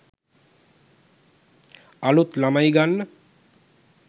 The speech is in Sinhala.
අලුත් ළමයි ගන්න